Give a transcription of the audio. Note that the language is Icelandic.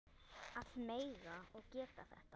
Að mega og geta þetta.